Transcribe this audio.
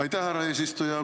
Aitäh, härra eesistuja!